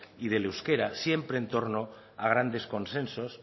y del euskera siempre en torno a grandes consensos